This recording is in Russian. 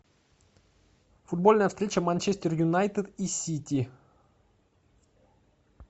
футбольная встреча манчестер юнайтед и сити